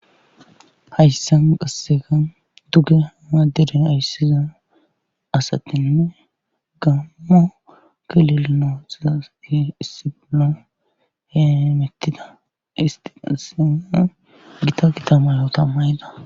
Hayssan qasseka dugge hamaadere ayssizan asatinne gammo kilelino xizasi issibilo heemettida istiqassene gita kitamayo tammayda